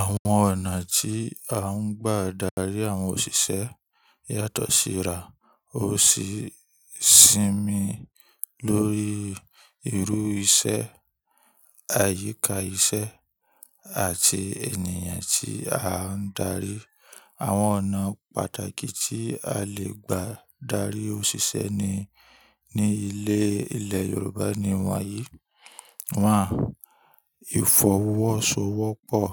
Àwọn ọ̀nà tí a ń gbà darí àwọn òṣìṣẹ́ yàtọ̀ síra. Ó sì ń sinmi lórí irú iṣẹ́, àyíká iṣẹ́, àti ènìyàn tí a ń darí. Àwọn ọ̀nà pàtàkì tí a lè gbà darí òṣìṣẹ́ ní, ní ilé, ilẹ̀ Yorùbá ni wọ́n yìí. Wọ́n, ìfọwọ́sowọ́pọ̀.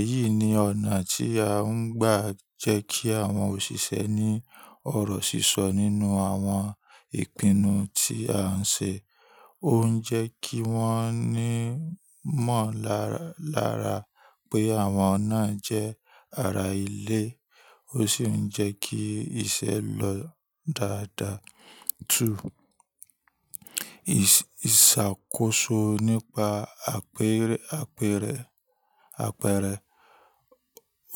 Èyí ni ọ̀nà tí a ń gbà jẹ́ kí àwọn òṣìṣẹ́ ní ọ̀rọ̀ sísọ nínú àwọn ìpinnu tí à ń ṣe. Ó ń jẹ́ kí wọ́n ní mọ̀ lara, lara pé àwọn nà jẹ́ ara ilé. Ó sì ń jẹ́ kí iṣẹ́ lọ dáadáa. Two, ìsàkóso nípa àpẹrẹ, àpẹrẹ, àpẹrẹ.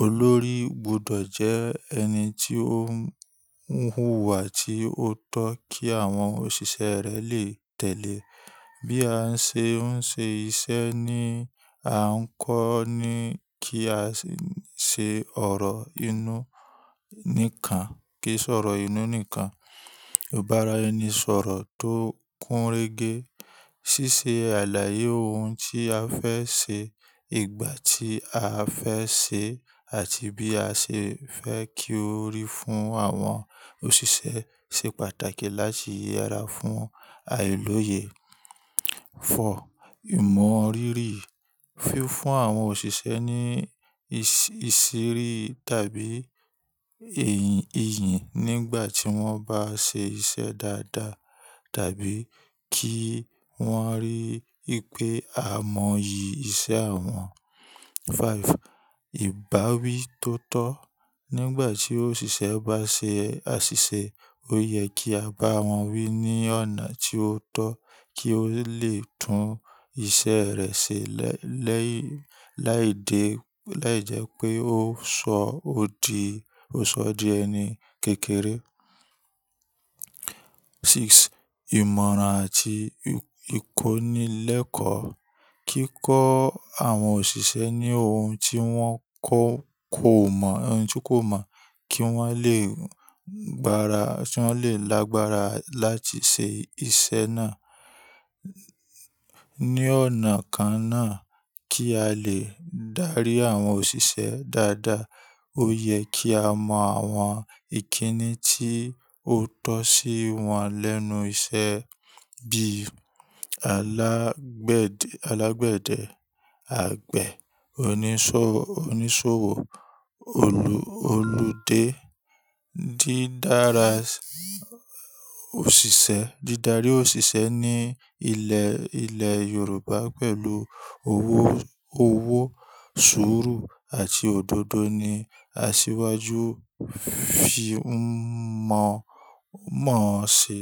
Olórí gbọdọ̀ jẹ ẹni tí ó n huwá tí ó tọ́ kí àwọn òṣìṣẹ́ rẹ̀ lè tẹ̀lé. Bí a ṣe ń ṣe iṣẹ́ ni a ń kọ́ ni kí a ṣe ọ̀rọ̀ inú nìkan, kí sọ̀rọ̀ inú nìkan. Ò bá ra ẹni sọ̀rọ̀ tó kúnrégé. Ṣíṣe àlàyé ohun tí a fẹ́ ṣe, ìgbà tí a fẹ́ ṣe, àti bí a ṣe fẹ́ kí ó rí fún àwọn òṣìṣẹ́ ṣe pàtàkì láti yẹra fún ayélòye. Four, ìmọ̀rírì. Fi fún àwọn òṣìṣẹ́ ní ìṣiri tàbí ẹ̀yì, ìyìn nígbà tí wọ́n bá ṣe iṣẹ́ dáadáa tàbí kí wọ́n rí wipé a mọyì iṣẹ́ wọn. Five, ìbáwí tó tọ̀. Nígbà tí òṣìṣẹ́ bá ṣe àṣìṣe, ó yẹ kí a bá wọn wí ní ọ̀nà tí ó tọ̀ kí ó lè tún iṣẹ́ rẹ̀ ṣe lẹ́yìn, láìdẹ́, láìjẹ́ pé ó sọ òdì, ó sọ dí ẹni kékeré. Six, ìmọ̀ràn àti ìkónilẹ́kọ̀ọ́. Kíkọ́ àwọn òṣìṣẹ́ ní ohun tí wọ́n kọ̀ kó mọ̀, ohun tí kò mọ̀ kí wọ́n lè gbára, kí wọ́n lè lágbára láti ṣe iṣẹ́ náà. Ni ọ̀nà kan náà kí a lè dárí àwọn òṣìṣẹ́ dáadáa, ó yẹ kí a mọ àwọn ìkíni tí ó tọ́ sí wọn lẹ́nu iṣẹ́ bí alágbedẹ̀, alágbedẹ̀, àgbẹ̀, oníṣòwò, oníṣòwò, olù, olùdé. Dídára òṣìṣẹ́, dídárí òṣìṣẹ́ ní ilẹ̀, ilẹ̀ Yorùbá pẹ̀lú owó, owó, sùúrù àti òdodo ní asíwájú fi ń mọ, mọ̀ ṣe.